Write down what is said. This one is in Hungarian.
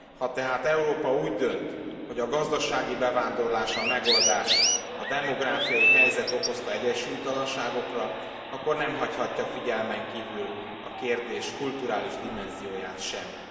Ha tehát Európa úgy dönt, hogy a gazdasági bevándorlás a megoldás a demográfiai helyzet okozta egyensúlytalanságokra, akkor nem hagyhatja figyelmen kívül a kérdés kulturális dimenzióját sem.